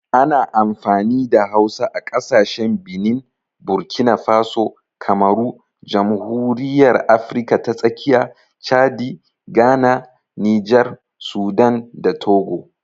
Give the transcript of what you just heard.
Ana amfani da Hausa a kasashen Benin, Burkina Faso, Kamaru, Jamhuriyar Afirka ta Tsakiya, Chadi, Ghana, Nijar, Sudan, da Togo.